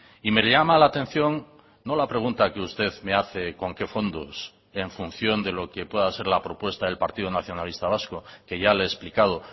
y me llama la atención no la pregunta que usted me hace con qué fondos en función de lo que pueda ser la propuesta del partido nacionalista vasco que ya le he explicado